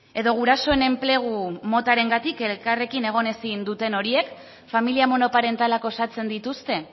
edo gurasoen enplegu motarengatik elkarrekin egin ezin duten horiek familia monoparentalak osatzen dituzte